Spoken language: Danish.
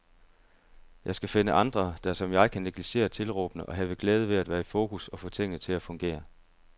Jeg skal finde andre, der som jeg kan negligere tilråbene og have glæde ved at være i fokus og få tingene til at fungere.